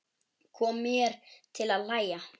Kom mér til að hlæja.